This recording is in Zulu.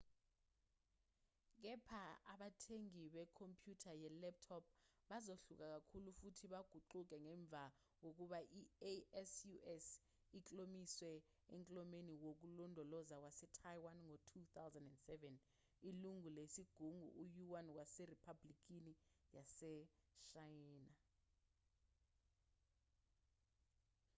kepha abathengi bekhompyutha ye-laptop bazohluka kakhulu futhi baguquke ngemva kokuba i-asus iklomeliswe eklomelweni wokulondoloza wase-taiwan ngo-2007 ilungu lesigungu uyuan waseriphabhulikini yaseshayina